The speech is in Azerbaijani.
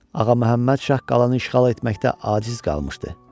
Ağaməmməd şah qalanı işğal etməkdə aciz qalmışdı.